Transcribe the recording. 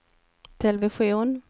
television